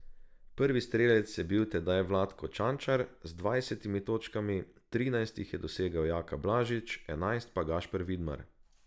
Prvi strelec je bil tedaj Vlatko Čančar z dvajsetimi točkami, trinajst jih je dosegel Jaka Blažič, enajst pa Gašper Vidmar.